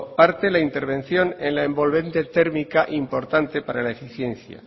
parte la intervención en la envolvente térmica importante para la eficiencia